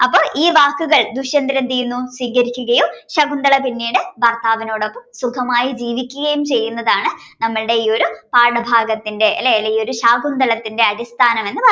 അപ്പൊ ഈ വാക്കുകൾ ദുഷ്യന്തരൻ സ്വീകരിക്കുകയും ശകുന്തള പിന്നീട് ഭർത്താവിനോടൊപ്പം ജീവിക്കുകയും ചെയ്യുന്നതാണ് നമ്മുടെ ഈ പാഠഭാഗത്തിന്റെ അല്ല ഈയൊരു ശാകുന്തളത്തിന്റെ അടിസ്ഥാനമെന്ന് പറയുന്നത്